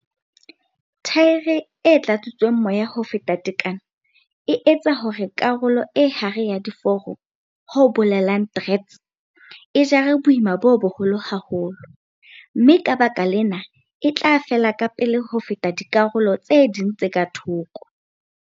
Thaere e tlatsitsweng moya ho feta tekano e etsa hore karolo e hare ya diforo ho bolelang treads. E jare boima bo boholo haholo, mme ka baka lena e tla fela kapele ho feta dikarolo tse ding tse ka thoko.